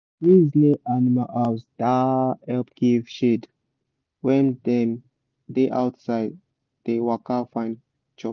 trees near animal house da help give shade when dem da outside da waka find chop